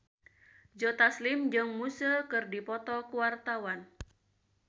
Joe Taslim jeung Muse keur dipoto ku wartawan